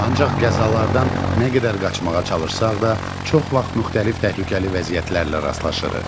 Ancaq qəzalardan nə qədər qaçmağa çalışsaq da, çox vaxt müxtəlif təhlükəli vəziyyətlərlə rastlaşırıq.